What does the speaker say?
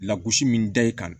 Lagosi min da i kan